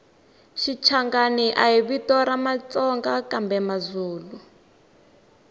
shichangani hhavito ramatsonga kambemazulu